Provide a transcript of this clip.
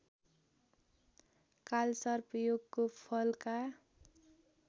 कालसर्पयोगको Falka